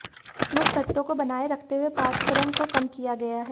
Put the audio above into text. मुख्य तत्वों को बनाए रखते हुए पाठ्यक्रम को कम किया गया है